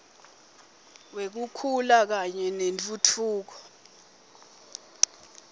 wekukhula kanye nentfutfuko